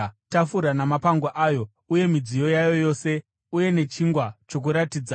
tafura namapango ayo uye midziyo yayo yose uye nechingwa choKuratidza;